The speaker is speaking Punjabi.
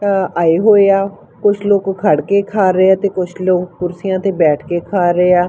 ਆਏ ਹੋਏ ਆ ਕੁਛ ਲੋਕ ਖੜ ਕੇ ਖਾ ਰਹੇ ਆ ਤੇ ਕੁਝ ਲੋਕ ਕੁਰਸੀਆਂ ਤੇ ਬੈਠ ਕੇ ਖਾ ਰਹੇ ਆ।